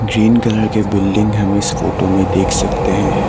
Green colour के building हम इस फोटो में देख सकते हैं।